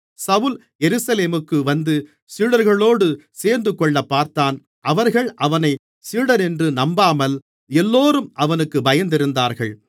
சவுல் எருசலேமுக்கு வந்து சீடர்களோடு சேர்ந்துகொள்ளப்பார்த்தான் அவர்கள் அவனைச் சீடனென்று நம்பாமல் எல்லோரும் அவனுக்குப் பயந்திருந்தார்கள்